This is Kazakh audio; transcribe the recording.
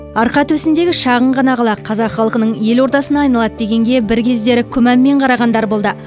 арқа төсіндегі шағын ғана қала қазақ халқының елордасына айналады дегенге бір кездері күмәнмен қарағандар болды